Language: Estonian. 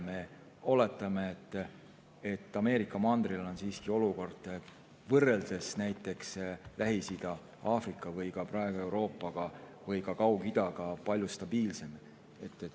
Me oletame, et Ameerika mandril on siiski olukord võrreldes näiteks Lähis-Ida, Aafrika või praegu ka Euroopa või Kaug-Idaga palju stabiilsem.